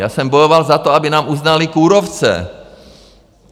Já jsem bojoval za to, aby nám uznali kůrovce.